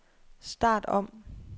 start om